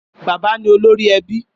Bàbá ni ólórì èbí